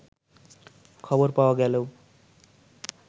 খবর পাওয়া গেলেও